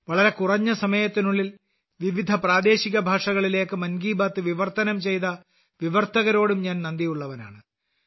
വളരെ കുറഞ്ഞ സമയത്തിനുള്ളിൽ വിവിധ പ്രാദേശിക ഭാഷകളിലേക്ക് മൻ കി ബാത് വിവർത്തനം ചെയ്ത വിവർത്തകരോടും ഞാൻ നന്ദിയുള്ളവനാണ്